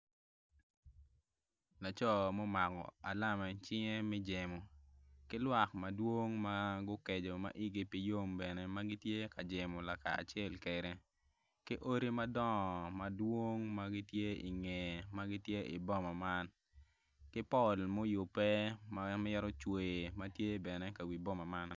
Laco ma omako alama i cinge me jemo ki lwak madwong ma igi okeco ma gitye ka jemo kacel kwede ki odi dongo ma gitye i ngeye i boma man ki pol muyubbe ma tye bene i ka wi boma man.